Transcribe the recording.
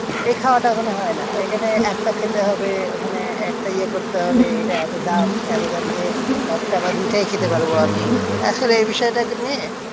এই খাওয়াটা ওখানে হয়না। এখানে একটা খেতে হবে ওখানে একটাই ইয়ে করতে হবে এটা এতো দাম এতো দাম দিয়ে একটা বা দুইটাই খেতে পারবো আমি আসলে এই বিষয়টাকে নিয়ে,